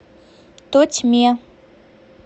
тотьме